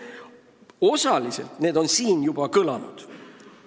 Osaliselt on need siin juba ka kõlanud.